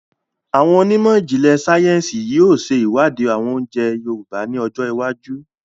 Àwọn onímọ̀jìnlẹ̀ sayẹ́nsi yìí ó ṣe iwadi oúnjẹ àwọn Yorùbá ni ọjọ́ iwájú